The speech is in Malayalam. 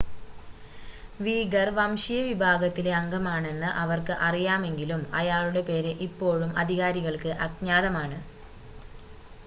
വീഗർ വംശീയ വിഭാഗത്തിലെ അംഗമാണെന്ന് അവർക്ക് അറിയാമെങ്കിലും അയാളുടെ പേര് ഇപ്പോഴും അധികാരികൾക്ക് അജ്ഞാതമാണ്